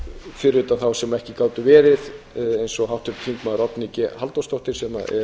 fyrir utan þá sem ekki gátu verið eins og háttvirtur þingmaður oddný g halldórsdóttir sem